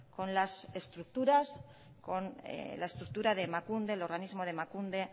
con la estructura de emakunde